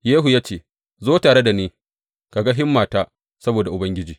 Yehu ya ce, Zo tare da ni ka ga himmata saboda Ubangiji.